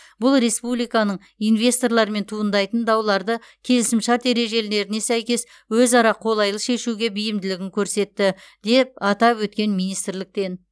бұл республиканың инвесторлармен туындайтын дауларды келісімшарт ережелеріне сәйкес өзара қолайлы шешуге бейімділігін көрсетті деп атап өткен министрліктен